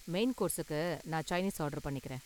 Main கோர்ஸுக்கு நான் Chinese order பண்ணிக்கறேன்.